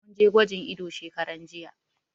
Mun je gwajin ido shekaran jiya.